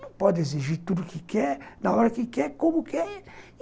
Não pode exigir tudo que quer, na hora que quer, como quer.